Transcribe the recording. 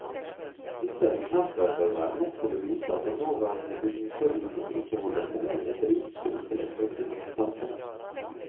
Disse eksempler bør være nok til å vise at den nåværende bygningslovgivning ikke holder mål i et rikt, sivilisert og fritt samfunn.